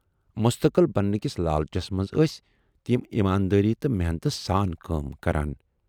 مستقل بننہٕ کِس لالچس منز ٲسۍ تِم ایماندٲری تہٕ محنتہٕ سان کٲم کران۔